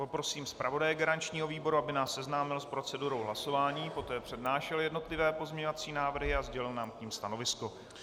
Poprosím zpravodaje garančního výboru, aby nás seznámil s procedurou hlasování, poté přednášel jednotlivé pozměňovací návrhy a sdělil nám k nim stanovisko.